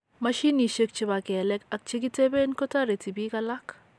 Mashinishek chebo kelek ak chegiteben kotareti bik alak